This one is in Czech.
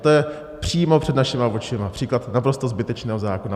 To je přímo před našima očima příklad naprosto zbytečného zákona.